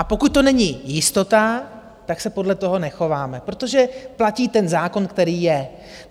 A pokud to není jistota, tak se podle toho nechováme, protože platí ten zákon, který je.